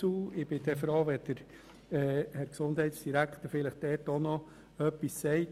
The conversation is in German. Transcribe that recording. Ich wäre froh, wenn der Gesundheitsdirektor noch etwas dazu sagen könnte.